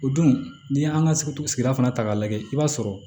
O don n'i y'an ka sigida fana ta k'a lajɛ i b'a sɔrɔ